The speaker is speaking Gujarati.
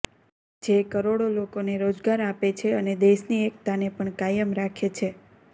જે કરોડો લોકોને રોજગાર આપે છે અને દેશની એક્તાને પણ કાયમ રાખે છે